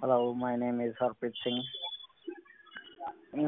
hello my name is harpreet singh